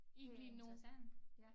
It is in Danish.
Interessant